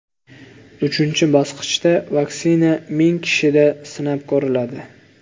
Uchinchi bosqichda vaksina ming kishida sinab ko‘riladi.